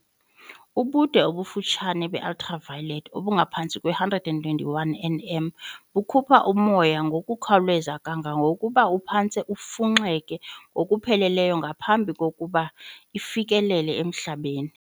Ubude obufutshane be-ultraviolet, obungaphantsi kwe-121 nm, bukhupha umoya ngokukhawuleza kangangokuba uphantse ufunxeke ngokupheleleyo ngaphambi kokuba ufikelele emhlabeni.